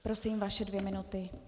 Prosím, vaše dvě minuty.